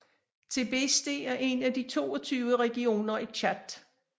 Tibesti er en af de 22 regioner i Tchad